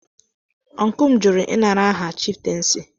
Ọncụl m jụrụ ị nara aha chiftensi.